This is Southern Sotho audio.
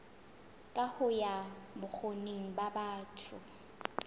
kaho ya bokgoni ba batho